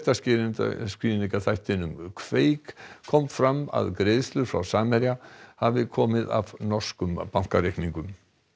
fréttaskýringarþættinum kveik kom fram að greiðslur frá Samherja hafi komið af norskum bankareikningum